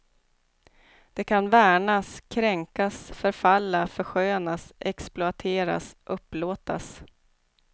Det kan värnas, kränkas, förfalla, förskönas, exploateras, upplåtas.